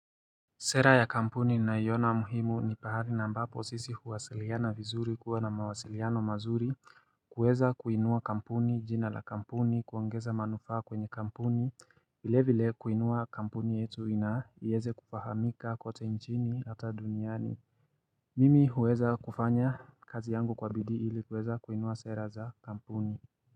Sera ya kampuni naiona muhimu ni pahali na ambapo sisi huwasiliana vizuri kuwa na mawasiliano mazuri kuweza kuinua kampuni jina la kampuni kuongeza manufaa kwenye kampuni vile vile kuinua kampuni yetu na iweze kufahamika kote nchini hata duniani Mimi huweza kufanya kazi yangu kwa bidii ili kuweza kuinua sera za kampuni.